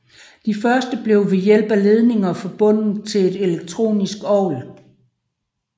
De første blev ved hjælp af ledninger forbundet til et elektronisk orgel